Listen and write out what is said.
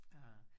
Ah